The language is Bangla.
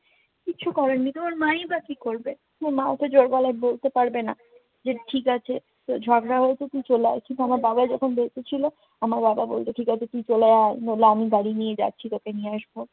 কিচ্ছু করার নেই, তোমার মায়ই বা কি করবে? তোমার মাতো জোর গলায় বলতে পারবে না যে, ঠিক আছে, তো রঝগড়া হয়েছে, তুই চলে আয়। কিন্তু আমার বাবা যখন বেঁচে ছিল, আমার বাবা বলতো ঠিক আছে তুই চলে আয়। নইলে আমি গাড়ি নিয়ে যাচ্ছি তোকে নিয়ে আসবো।